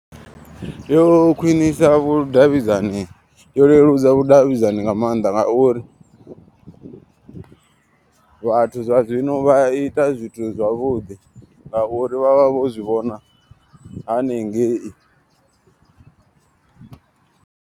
Yo khwinisa vhudavhidzani yo leludza vhudavhidzani nga maanḓa. Ngauri vhathu zwa zwino vha ita zwithu zwavhuḓi ngauri vha vha vho zwivhona haningei.